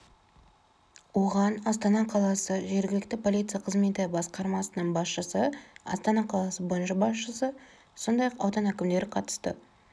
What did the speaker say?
оған астана қаласы жергілікті полиция қызметі басқармасының басшысы астана қаласы бойынша басшысы сондай-ақ аудан әкімдері қатысты